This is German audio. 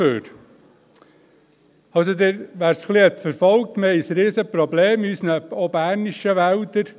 Wer es ein wenig verfolgt hat, weiss, dass wir ein riesiges Problem haben, auch in unseren bernischen Wäldern.